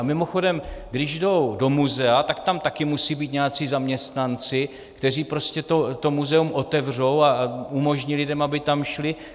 A mimochodem, když jdou do muzea, tak tam také musejí být nějací zaměstnanci, kteří prostě to muzeum otevřou a umožní lidem, aby tam šli.